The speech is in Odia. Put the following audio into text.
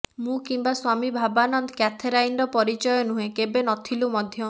ମୁଁ କିମ୍ୱା ସ୍ୱାମୀ ଭାବାନନ୍ଦ କ୍ୟାଥେରାଇନ୍ର ପରିଚୟ ନୁହେଁ କେବେ ନଥିଲୁ ମଧ୍ୟ